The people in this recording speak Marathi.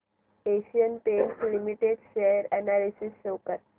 Asian Paints Limited share analysis show कर